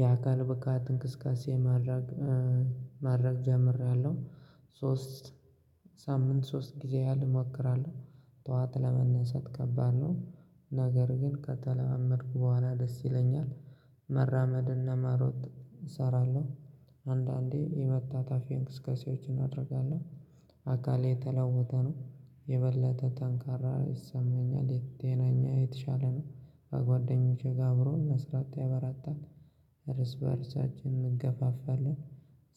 የአካል ብቃት እንቅስቃሴ ማድረግ ማድረግ ጀምሬያለሁ ሶስት ሳምንት ሶስት ጊዜ ያህል እሞክራለው ጡዋት ለመነሰት ከባድ ነው። ነገር ግን ከተለማመድኩ ቦኋላ ደስ ይለኛል። መራመድና መሮጥ እሰራለው አንዳንዴ የመታታፊ እንቅስቃሴዎችን እደርጋለው። አካሌ የተለወጠ ነው የበለጠ ተንካራ ይሰማኛል። የት ቴናኛሌ የተሻለ ነው። በጓደኞቼ አብሮ መስራት ያበራታል እርስ በእርሳችን እንገፋፋለን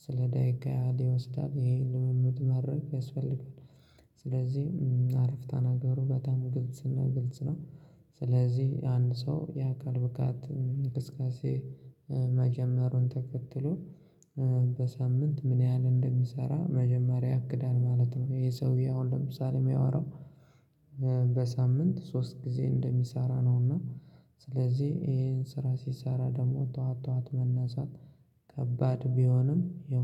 ስለ ደቂቃ ይወስዳል ይሄን ልምምድ ማረግ ያስፈልጋል። ስለዚህ አረፍታ ነገሩ በጣም ግልጽና ግልጽ ነው። ስለዚህ አንድ ሰው የአካል ብቃት አንቅስቃሴ መጀመሩን ተከትሎ በሳምንት ምን ያህል እንደሚሰራ መጀመሪያ ያክዳል ማለት ነው። ይሄ ሰውዬ አሁን ለምሳሌ የሚያወራው በሳምንት ሶስት ጊዜ እንደሚሰራ ነውና ስለዚህ ይሄን ስራ ሲሰራ ደግሞ ጧት ጧት መነሳት ከባድ ቢሆንም ያው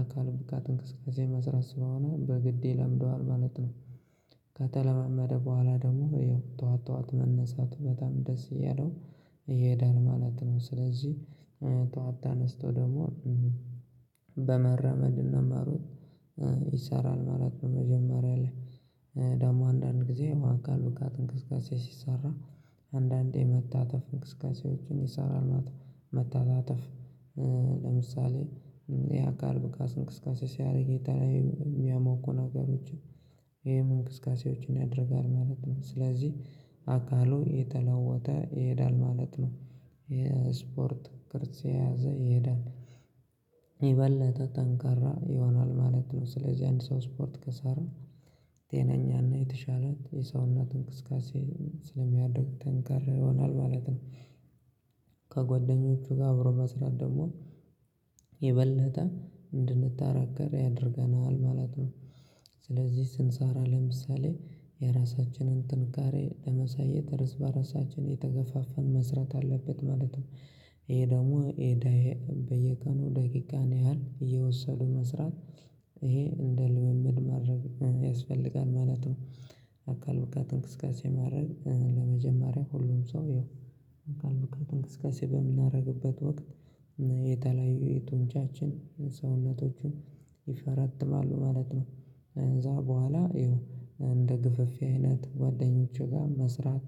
አካል ብቃት እንቅስቃሴ መስራት ስለሆነ በግድ ይለምደዋል ማለት ነው። ከተለማመደ ቦኋላ ደግሞ ይኸው ጡዋት ጡዋት መነሳቱ በጣም ደስ አያለው ይሄዳል ማለት ነው። ስለዚህ ጡዋት ተነስቶ ደግሞ በመራመድ እና መሮጥ ይሰራል ማለት ነው መጀመሪያ ላይ ደግሞ አንዳንድ ጊዜ የ አካል ብቃትት እንቅስቃሴ ሲሰራ አንዳንዴ መታተፍ እንቅስቃሴዎችን ይሰራል መተታተፍ ለምሳሌ የአካል ብቃት አንቅስቃሴ ሲያደርግ የተለያዩ የሚያሞቁ ነገሮች ይሄን እንቅስቃሴዎችን ያደርጋል ማለት ነው። ስለዚህ አካሉ የተለወጠ ይሄዳል ማለት ነው የስፖርት ክርስት የያዘ ይሄዳል። የበለጠ ጠንካራ ይሆናል ማለት ነው። ስለዚህ አንድ ሰው ስፖርት ከሰራ ጤነኛና የተሻለ የሰውነት አንክስካሴ ስለሚያደርግ ተንካራ ይሆናል ማለት ነው። ከጓደኞቹ ጋር አብሮ መስራት ደግሞ የበለጠ እንድንጠራገር ያደርገናል ማለት ነው። ስለዚህ ስንሰራ ለምሳሌ የራሳችንን ጥንካሬ ለመሳየት ርዝ በራሳችን አየተገፋፋን መስራት አለበት ማለት ነው። ይሄ ደግሞ ኤዳዬ በየቀኑ ደቂቃ ነው ያህል አየወሰዱ መስራት ይሄ እንደ ልምምድ ማድረግ ያስፈልጋል ማለት ነው። አካል ብቃት እንቅስቃሴ ማድረግ ለመጀመሪያ ሁሉም ሰው ይኸው አካል ብካት እንቅስቃሴ በምናደርግበት ወቅት የተለያዩ የጡንቻችን ሰውነቶችን ይፈረትማሉ ማለት ነው ከዛ ቦኋላ አየው እንደ ግፍፍ አይነት ጓደኞቼ ጋ መስራት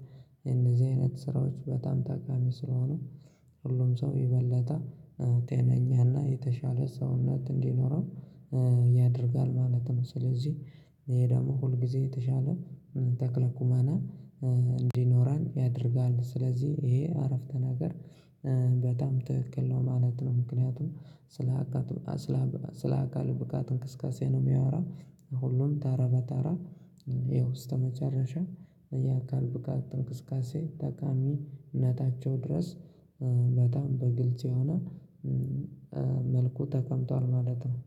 እንደዚህ አይነት ስራዎች በጣም ታካሚ ስለሆኑ ሁሉም ሰው ይበለጠ ቴነኛና የተሻለ ሰውነት እንዲኖረው ያደርጋል ማለት ነው። ስለዚህ ይሄ ደግሞ ሁል ጊዜ የተሻለ ተክለ ኩማና እንዲኖረን ያደርጋል ስለዚህ ይሄ አረፍተ ነገር በጣም ትክክል ነው ማለት ነው ምክንያቱም ስለ አካል ብቃት እንክስካሴ ነው የሚያወራው ሁሉም ተራ በተራ ይኸውስጥ መጨረሻ የአካል ብቃት አንቅስቃሴ ጠቃሚነታቸው ድረስ በጣም በግልጽ የሆነ መልኩ ተቀምጧል ማለት ነው።